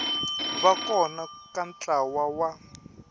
va kona ka ntlawa wa